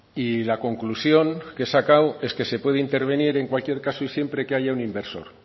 y la conclusión es que he sacado es que se puede intervenir en cualquier caso siempre que haya un inversor